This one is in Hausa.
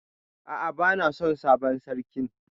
A'a bana son sabon sarkin.